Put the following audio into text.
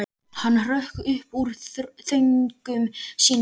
Hann hrökk upp úr þönkum sínum.